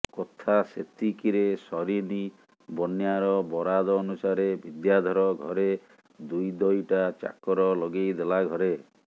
କଥା ସେତିକି ରେ ସରିନି ବନ୍ୟାର ବରାଦ ଅନୁସାରେ ବିଦ୍ୟାଧର ଘରେ ଦୁଇଦଇଟା ଚାକର ଲଗେଇ ଦେଲା ଘରେ